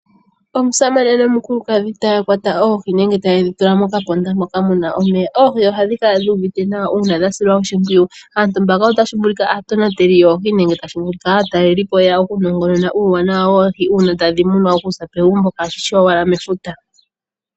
Omusamane nomukuladhi taya kwata oohi nenge tayedhi tula mokaponda moka muna omeya. Oohi ohadhi kala dhi uvite nawa uuna dhasilwa oshimpwiyu. Aantu mbaka otashi vulika aatonateli yoohi nenge aatalelipo yeya okunongonona uuwanawa woohi una tadhi munwa okuza megumbo kaishi owala mefuta.